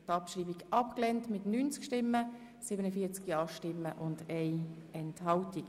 Abstimmung (Abschreibung als Postulat)